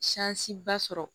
ba sɔrɔ